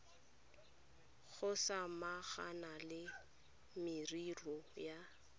go samagana le merero ya